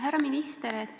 Härra minister!